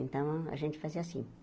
Então, a gente fazia assim.